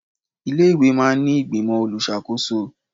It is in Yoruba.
Ilé-ìwé máa ń ní ìgbìmọ̀ olùṣàkóko